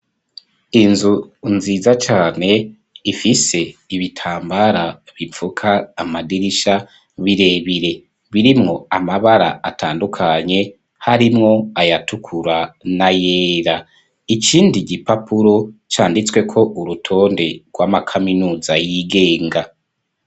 Inzu, nziza cane, ifise ibitambara, bipfuka amadirisha, birebire, birimwo amabara, atandukanye, harimwo ayatukura, n'ayera; ikindi gipapuro, canditsweko, urutonde rw'amakaminuza, yigenga.